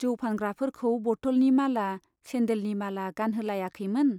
जौ फानग्राफोरखौ बट'लनि माला , सेन्डेलनि माला गानहोलायाखैमोन ?